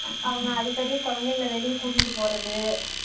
அவங்க அடிக்கடி குழந்தைங்களா வெளிய கூட்டிட்டு போறது